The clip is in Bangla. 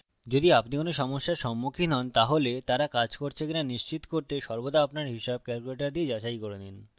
যদি আপনি কোন সমস্যার সম্মুখীন হন তাহলে তারা কাজ করছে কিনা নিশ্চিত করতে সর্বদা আপনার হিসাব calculator দিয়ে যাচাই করে নিন